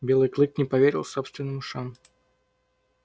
белый клык не поверил собственным ушам